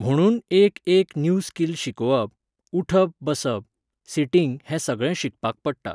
म्हुणून एक एक न्यू स्कील शिकोवप, उठप बसप, सिटींग हें सगळें शिकपाक पडटा.